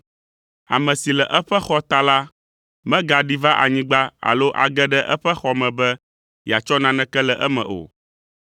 Ame si le eƒe xɔ ta la megaɖi va anyigba alo age ɖe eƒe xɔ me be yeatsɔ naneke le eme o.